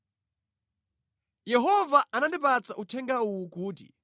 Yehova anandipatsa uthenga uwu kuti,